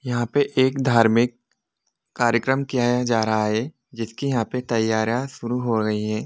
यहाँ पे एक धार्मिक कार्यक्रम किया या जा रहा हैं जिसकी यहाँ पे तैयारा शुरू हो रही हैं।